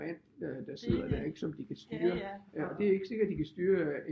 Mand der sidder der ikke som de kan styre og det er ikke sikkert de kan styre